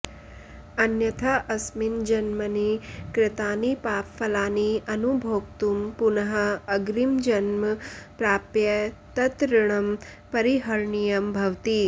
अन्यथा अस्मिन् जन्मनि कृतानि पापफलानि अनुभोक्तुं पुनः अग्रिमं जन्म प्राप्य तत् ऋणं परिहरणीयं भवति